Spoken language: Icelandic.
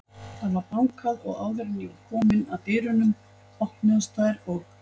Það var bankað og áður en ég var komin að dyrunum, opnuðust þær og